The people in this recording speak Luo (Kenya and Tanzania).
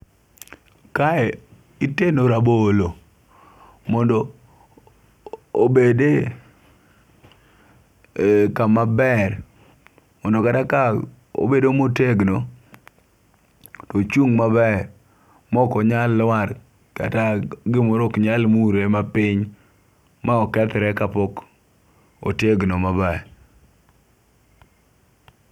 Kae itego rabolo mondo obede e kama ber mondo kata ka obedo motegno tochung' maber mok onya lwar kata gimoro ok nyal mule mapiny ma okethre kapok otegno maber